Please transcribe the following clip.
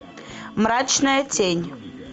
мрачная тень